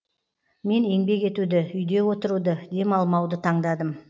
мен еңбек етуді үйде отыруды демалмауды таңдадым